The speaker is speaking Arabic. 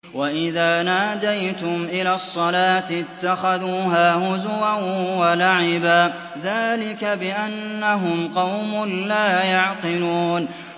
وَإِذَا نَادَيْتُمْ إِلَى الصَّلَاةِ اتَّخَذُوهَا هُزُوًا وَلَعِبًا ۚ ذَٰلِكَ بِأَنَّهُمْ قَوْمٌ لَّا يَعْقِلُونَ